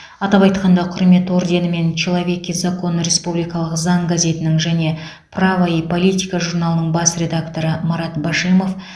атап айтқанда құрмет орденімен человек и закон республикалық заң газетінің және право и политика журналының бас редакторы марат башимов